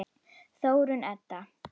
Þórunn Edda.